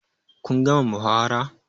Kun gama muhawara?